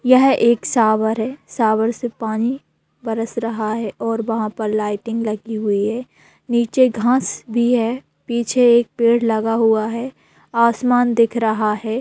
यह एक शॉवर है शॉवर से पानी बरस रहा है और वहाँ पे लाईटिंग लगी हुई है नीचे घास भी है पीछे एक पेड़ लगा हुआ है आसमान दिख रहा है।